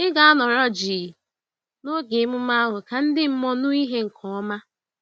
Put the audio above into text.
Ị ga-anọrọ jii n'oge emume ahụ ka ndị mmụọ nụ ìhè nke ọma.